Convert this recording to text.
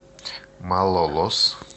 малолос